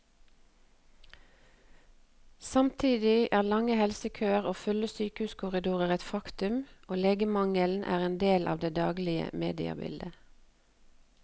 Samtidig er lange helsekøer og fulle sykehuskorridorer et faktum, og legemangelen er en del av det daglige mediebildet.